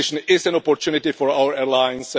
Competition is an opportunity for our airlines.